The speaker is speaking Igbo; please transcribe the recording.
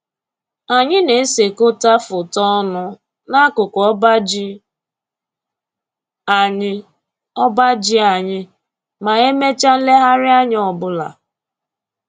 Anyị na-esekọta foto ọnụ n'akụkụ ọba ji anyị ọba ji anyị ma e mechaa nlegharịanya ọbụla